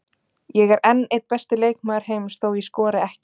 Ég er enn einn besti leikmaður heims þó ég skori ekki.